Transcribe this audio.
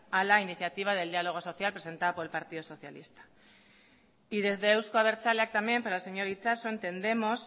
a la iniciativa del diálogo social presentada por el partido socialista y desde eusko abertzaleak también para el señor itxaso entendemos